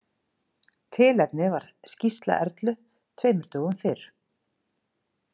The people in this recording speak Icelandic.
Tilefnið var skýrsla Erlu tveimur dögum fyrr.